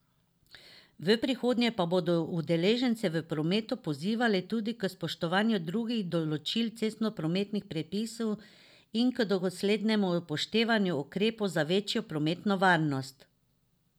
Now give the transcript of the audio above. V prihodnje pa bodo udeležence v prometu pozivali tudi k spoštovanju drugih določil cestnoprometnih predpisov in k doslednemu upoštevanju ukrepov za večjo prometno varnost.